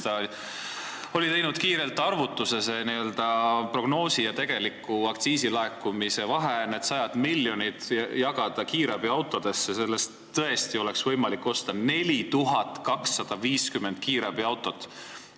Ta oli teinud kiire arvutuse, et kui prognoosi ja tegeliku aktsiisilaekumise vahe, need sajad miljonid, jagada kiirabiautode peale, siis selle raha eest oleks tõesti võimalik osta 4250 kiirabiautot.